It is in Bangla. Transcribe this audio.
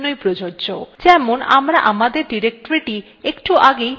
যেমন আমরা আমাদের ডিরেক্টরীটি একটু আগেই path variable we যোগ করেছিলাম